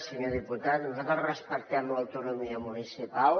senyor diputat nosaltres respectem l’autonomia municipal